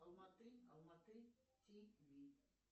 алматы алматы тв